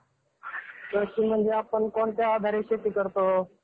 कृषी म्हणजे आपण कोणत्या आधारे शेती करतो.